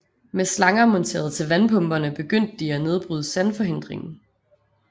Med slanger monteret til vandpumperne begyndte de at nedbryde sandforhindringen